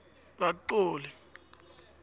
kaxoli